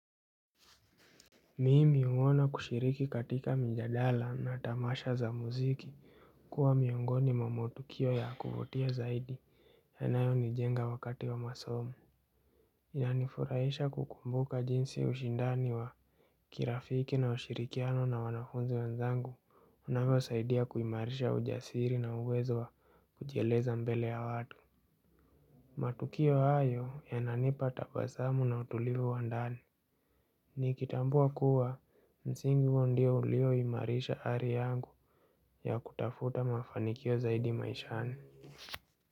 Mimi huona kushiriki katika mijadala na tamasha za muziki kuwa miongoni mwa matukio ya kuvutia zaidi yanayo nijenga wakati wa masomo inanifurahisha kukumbuka jinsi ushindani wa kirafiki na ushirikiano na wanafunzi wenzangu unavyosaidia kuimarisha ujasiri na uwezo wa kujieleza mbele ya watu matukio hayo yananipa tabasamu na utulivu wa ndani Nikitambua kuwa msingi huo ndio ulioimarisha ari yangu ya kutafuta mafanikio zaidi maishani.